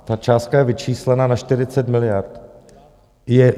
Ta částka je vyčíslena na 40 miliard.